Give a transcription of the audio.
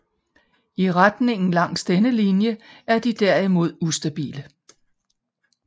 I retningen langs denne linje er de derimod ustabile